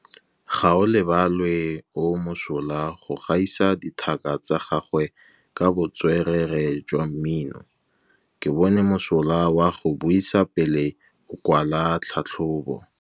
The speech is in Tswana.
Gaolebalwe o mosola go gaisa dithaka tsa gagwe ka botswerere jwa mmino. Ke bone mosola wa go buisa pele o kwala tlhatlhobô.